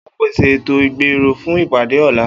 O óò pèsè ètò-ìgbérò fún ìpàdé ò̩la!